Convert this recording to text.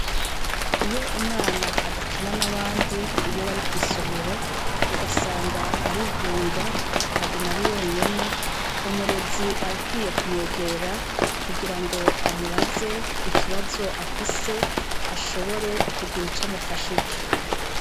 Iyo umwana adakina n'abandi iyo bari kw'isomero, ugasanga arigunga, aguma ari wenyene, umurezi arakwiye kumwegera kugira ngo amubaze ikibazo afise, ashobore kugira ico amufashije.